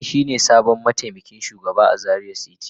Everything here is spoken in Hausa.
Sani shine sabon mataimakin shugaba a Zaria city.